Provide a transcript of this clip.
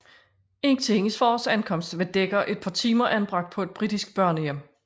Indtil hendes fars ankomst var Dekker et par timer anbragt på en britisk børnehjem